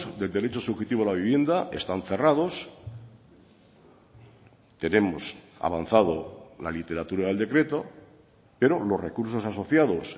del derecho subjetivo a la vivienda están cerrados tenemos avanzado la literatura del decreto pero los recursos asociados